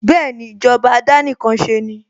Bẹ́ẹ̀ni, ìjọba àdánìkanṣeni